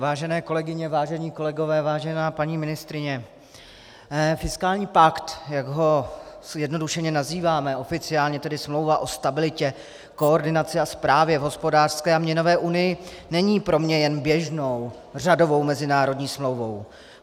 Vážené kolegyně, vážení kolegové, vážená paní ministryně, fiskální pakt, jak ho zjednodušeně nazýváme, oficiálně tedy Smlouva o stabilitě, koordinaci a správě v hospodářské a měnové unii, není pro mě jen běžnou, řadovou mezinárodní smlouvou.